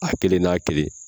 A kelen n'a kelen